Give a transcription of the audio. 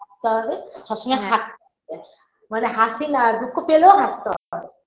তাহলে সবসময় হা মানে হাসিনা দুঃখ পেলেও হাসতে হয়